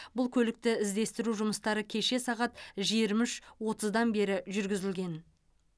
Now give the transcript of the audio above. бұл көлікті іздестіру жұмыстары кеше сағат жиырма үш отыздан бері жүргізілген